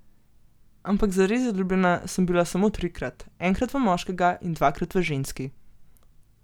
Ampak zares zaljubljena sem bila samo trikrat, enkrat v moškega in dvakrat v ženski.